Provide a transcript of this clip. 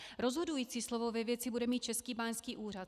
Rozhodující slovo ve věci bude mít Český báňský úřad.